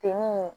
Te mun